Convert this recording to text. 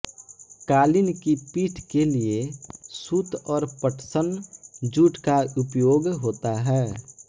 कालीन की पीठ के लिए सूत और पटसन जूट का उपयोग होता है